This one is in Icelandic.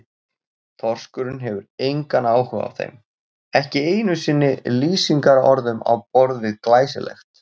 Þorskurinn hefur engan áhuga á þeim, ekki einu sinni lýsingarorðum á borð við glæsilegt.